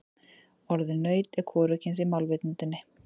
Orðið naut er hvorugkyns í málvitundinni.